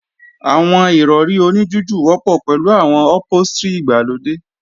Àwọn Ìrọ̀rí oní jújù wọ́pọ̀ pẹ̀lú àwọn ọ̀póstrì ìgbàlódé